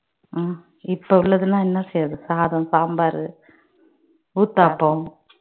உம் இப்போ உள்ளதெல்லாம் என்ன செய்வது சாதம் சாம்பார் ஊத்தாப்பம்